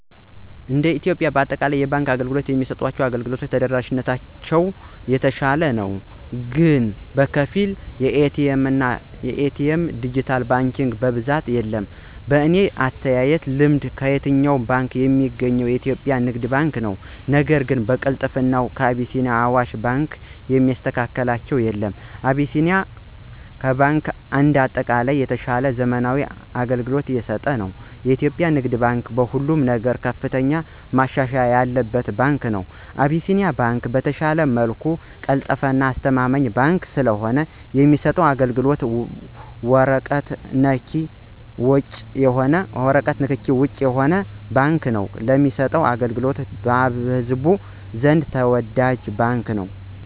እንደ ኢትዮጵያ በአጠቃላይ የባንክ አገልግሎት የሚሰጡ ባንኮች ተደራሽነታቸውን ስናይ በከፊል የተሻለ ነው ግን በኤ.ቲ. ኤምና ድጅታል ባንኪንግ በብዛት የለም። በኔ አተያይና ልምድ ከየትኛውም ቦታ ሚገኘው የኢትዮጵያ ንግድ ባንክ ነው ነገር ግን በቅልጥፍና አቢሲኒያና አዋሽ ባንክን የሚስተካከላቸው የለም። አቢሲኒያ ባንክ እንደ አጠቃላይ የተሻለና ዘመናዊ አገልግሎት እየሰጠ ነው። የኢትዮጵያ ንግድ ባንክ በሁሉም ነገር ከፍተኛ መሻሻል ያለበት ባንክ ነው። አቢሲኒያ ባንክ በተሻለ መልኩ ቀልጣፋና አስተማማኝ ባንክ ሲሆን የሚሰጠውም አገልግሎት በወረቀት ንክኪ ውጭ የሆነ ባንክ ነው ለሚሰጠው አገልግሎቱም በህዝቡ ዘንድ ተወዳጅ ባንክ ነው።